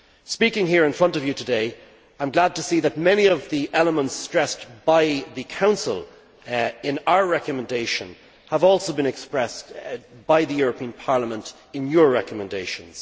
Speaking here in front of you today, I am glad to see that many of the elements stressed by the Council in our recommendation have also been expressed by the European Parliament in your recommendations.